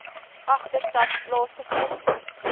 agterstand plaasvind c